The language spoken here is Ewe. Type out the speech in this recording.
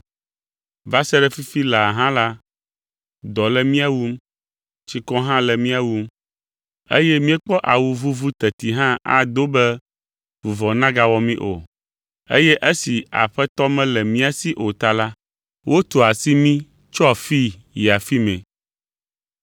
Va sa ɖe fifi laa hã la, dɔ le mía wum, tsikɔ hã le mía wum, eye míekpɔ awu vuvu teti hã ado be vuvɔ nagawɔ mí o. Eye esi aƒe aɖeke mele mía si o ta la, wotua asi mí tso afii yi afi mɛ.